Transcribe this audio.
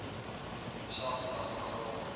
dieselfde dag begrawe